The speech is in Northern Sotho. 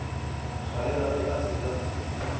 tswalela ge a se na